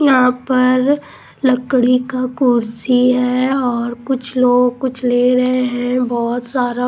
यहां पर लकड़ी का कुर्सी है और कुछ लोग कुछ ले रहे हैं बहुत सारा--